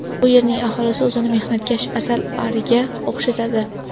Bu yerning aholisi o‘zini mehnatkash asalariga o‘xshatadi.